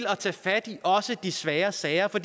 at tage fat også i de svære sager for